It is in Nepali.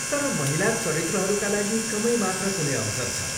तर महिला चरित्रहरूका लागि कमै मात्र कुनै अवसर छ।